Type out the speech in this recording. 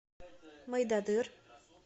мойдодыр